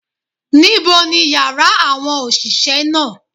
Níbo ni yàrá àwọn òsìsé náà